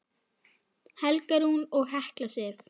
Helga Rún og Hekla Sif.